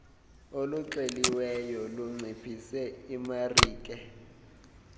oluxeliweyo lunciphise imarike